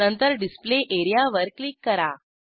नंतर डिस्प्ले एरियावर क्लिक करा